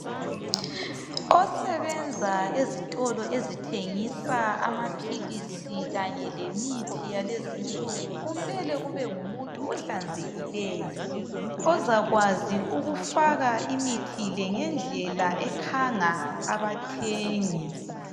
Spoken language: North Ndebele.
Osebenza ezitolo ezithengisa amaphilisi kanye lemithi yalezinsuku kumele kube ngumuntu ohlanzekileyo ozakwazi ukufaka imithi le ngendlela ekhanga abathengi